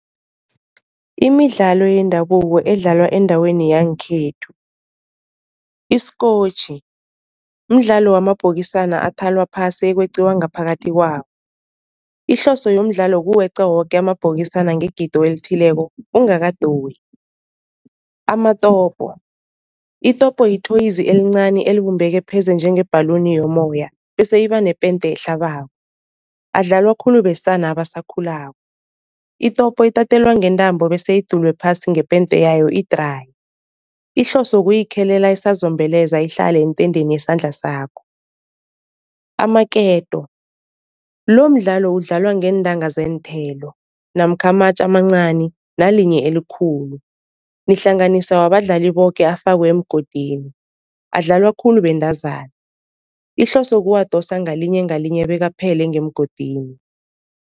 Imidlalo yendabuko edlalwa endaweni yangekhethu. Isikotjhi, mdlalo wamabhokisana athalwa phasi ekweqiwa ngaphakathi kwawo ihloso yomdlalo kuweqa woke amabhokisana ngegido elithileko ungakadoyi. Amatopo itopo yi-toys elincani elibumbeke pheze njengebhaluni yomoya bese iba nepente ehlabako, adlalwa khulu besana abasakhulako. Itopo itatelwa ngentambo bese idulwe phasi ngepente yayo idraye, ihloso kuyikhelela isazombeleza ihlale entendeni yesandla sakho. Amaketo lomdlalo udlalwa ngeentanga zeenthelo namkha amatje amancani nalinye elikhulu, nihlanganisa wabadlali boke afakwe emgodini, adlalwa khulu bentazana ihloso kuwadosa ngalinye ngalinye bekaphele ngemgodini.